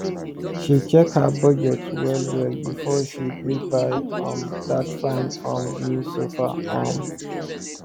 she check her budget well well before she gree buy um that fine um new sofa um